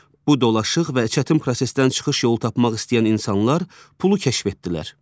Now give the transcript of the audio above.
Bu dolaşıq və çətin prosesdən çıxış yolu tapmaq istəyən insanlar pulu kəşf etdilər.